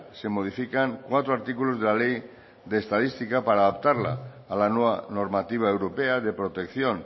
se modifican cuatro artículos de la ley de estadística para adaptarla a la nueva normativa europea de protección